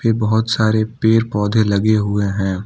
बहोत सारे पेर पौधे लगे हुए हैं।